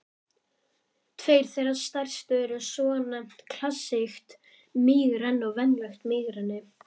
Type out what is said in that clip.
Tveir þeirra stærstu eru svonefnt klassískt mígreni og venjulegt mígreni.